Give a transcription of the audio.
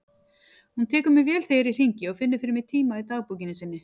Hún tekur mér vel þegar ég hringi og finnur fyrir mig tíma í dagbókinni sinni.